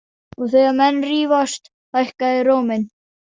Og þegar menn rífast, hækka þeir róminn.